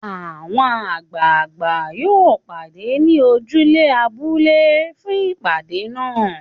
Àwọn àgbààgbà yóò pàdé ní ojúde abúlé fún ìpàdé náà.